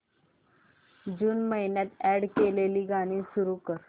जून महिन्यात अॅड केलेली गाणी सुरू कर